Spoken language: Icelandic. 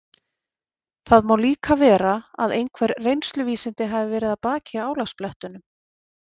Það má líka vera að einhver reynsluvísindi hafi verið að baki álagablettunum.